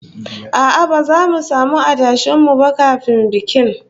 A'a, ba zamu samu adashen mu ba kafin bikin